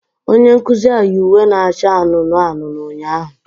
Onye nkuzi ahụ yi uwe na-acha anụnụ anụnụ ụnyaahụ